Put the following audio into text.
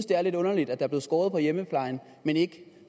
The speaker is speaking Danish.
det er lidt underligt at der bliver skåret ned i hjemmeplejen men ikke